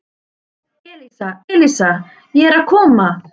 Elísa, Elísa, ég er að koma